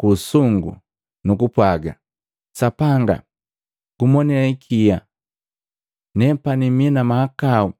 ku usungu, nukupwaga, ‘Sapanga, nagumonee ikia, nepani mii na mahakau!’